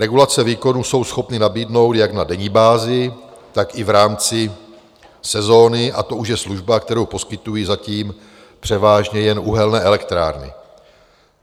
Regulaci výkonu jsou schopny nabídnout jak na denní bázi, tak i v rámci sezóny, a to už je služba, kterou poskytují zatím převážně jen uhelné elektrárny.